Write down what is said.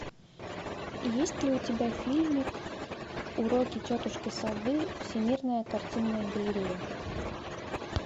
есть ли у тебя фильмик уроки тетушки совы всемирная картинная галерея